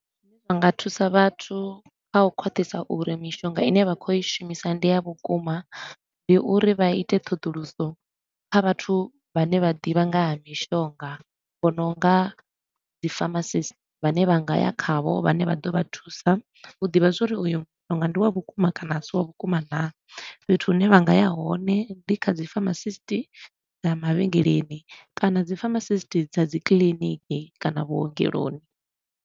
Vha nga thusa vhathu kha u khwaṱhisa uri mishonga i ne vha khou i shumisa ndi ya vhukuma, ndi uri vha ite ṱhoḓuluso kha vhathu vhane vha ḓivha nga ha mishonga, vho no nga dzi pharmacist vhane vha nga ya khavho vhane vha ḓo vha thusa. U ḓivha zwa uri uyo mushonga ndi wa vhukuma kana a si wa vhukuma naa. Fhethu hune vha nga ya hone ndi kha dzi pharmacist na mavhengeleni kana dzi pharmacist dza dzi kiḽiniki kana vhuongeloni.